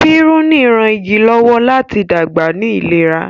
piruni rán ìgi lọwọ láti dàgbà ní ìlera.